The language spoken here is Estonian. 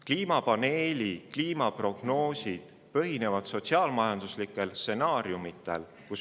Kliimapaneeli kliimaprognoosid põhinevad sotsiaal-majanduslikel stsenaariumidel.